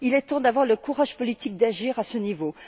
Il est temps d'avoir le courage politique d'agir à ce niveau.